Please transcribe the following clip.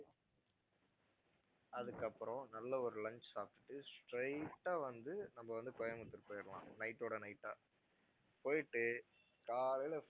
அதுக்கப்பறம் நல்ல ஒரு lunch சாப்பிட்டுட்டு straight ஆ வந்து நம்ம வந்து கோயம்பத்தூர் போயிடலாம் night ஓட night ஆ போயிட்டு காலைல